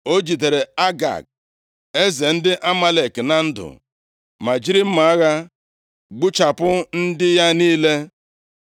O jidere Agag, eze ndị Amalek na ndụ, ma jiri mma agha gbuchapụ ndị ya niile.